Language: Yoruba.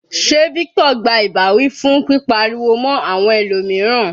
Sé Victor gba ìbáwí fún pípa ariwo mọ́ àwọn ẹlòmíràn.